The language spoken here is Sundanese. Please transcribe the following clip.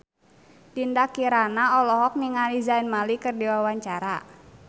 Dinda Kirana olohok ningali Zayn Malik keur diwawancara